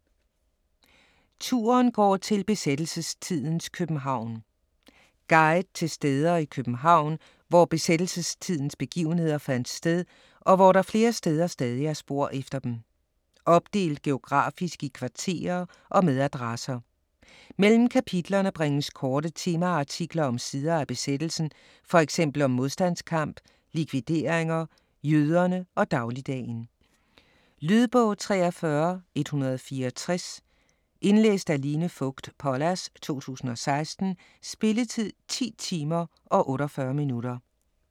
Turen går til besættelsestidens København Guide til steder i København, hvor besættelsestidens begivenheder fandt sted, og hvor der flere steder stadig er spor efter dem. Opdelt geografisk i kvarterer og med adresser. Mellem kapitlerne bringes korte temaartikler om sider af besættelsen, fx om modstandskamp, likvideringer, jøderne og dagligdagen. Lydbog 43164 Indlæst af Line Fogt Pollas, 2016. Spilletid: 10 timer, 48 minutter.